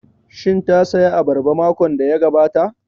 Shin ta saya abarba makon da ya gabata?